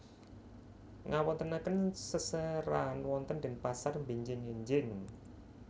Ngawontenaken seserahan wonten Denpasar benjing enjing